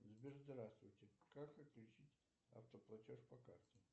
сбер здравствуйте как отключить автоплатеж по карте